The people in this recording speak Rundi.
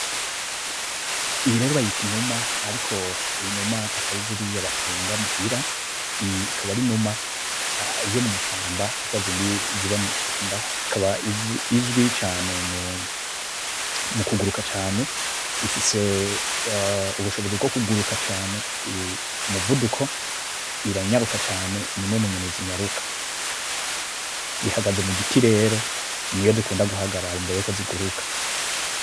Iyi rero bayita inuma, ariko inuma atari ziriya batunga muhira. Iyi ikaba ari inuma yomwishamba zazindi ziba mwishamba, ikaba izwi cane mukuguruka cane, ifise ubushobozi bwokuguruka cane, umuvuduko, iranyaruka cane, nimwe munyoni zinyaruka. Ihagaze mugiti rero niho zikunda guhagara imbere yuko ziguruka.